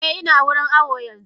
Eh ina wurin awo yanzu.